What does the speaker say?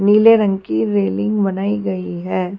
नीले रंग की रेलिंग बनाई गई है।